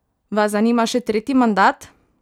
Vas zanima še tretji mandat?